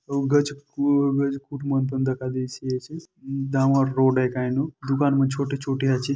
Dawar road हे कायचू दुकान मन छोटे छोटे--